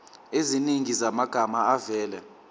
eziningi zamagama avela